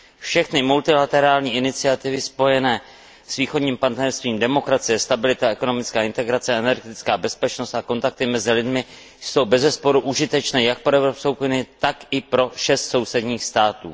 Všechny multilaterální iniciativy spojené s Východním partnerstvím, demokracie, stabilita, ekonomická integrace, energetická bezpečnost a kontakty mezi lidmi jsou bezesporu užitečné jak pro Evropskou unii, tak i pro šest sousedních států.